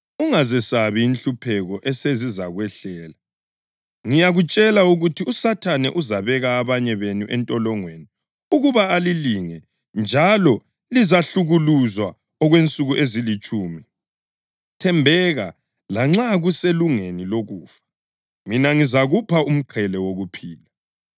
Ungazesabi inhlupheko esezizakwehlela. Ngiyakutshela ukuthi uSathane uzabeka abanye benu entolongweni ukuba alilinge njalo lizahlukuluzwa okwensuku ezilitshumi. Thembeka, lanxa kuselungeni lokufa, mina ngizakupha umqhele wokuphila.